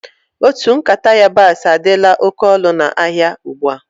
Otu nkata yabasi adila oké ọnụ na áhiá ugbua.